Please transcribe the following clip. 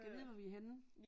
Gad vide hvor vi er henne